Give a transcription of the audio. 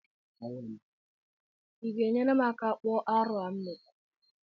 I ga-enyere m aka ka m kpụọ arụ a m metara?